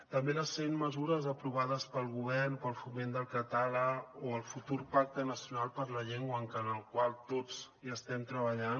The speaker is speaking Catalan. també les cent mesures aprovades pel govern per al foment del català o el futur pacte nacional per la llengua en el qual tots hi estem treballant